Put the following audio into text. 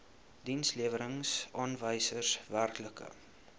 dienslewerings aanwysers werklike